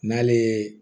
N'ale ye